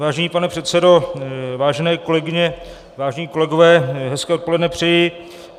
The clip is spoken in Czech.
Vážený pane předsedo, vážené kolegyně, vážení kolegové, hezké odpoledne přeji.